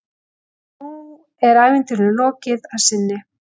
En nú er ævintýrinu lokið að sinni.